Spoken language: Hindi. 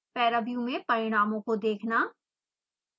paraview में परिणामों को देखना